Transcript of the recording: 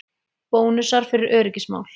Bónusar fyrir öryggismál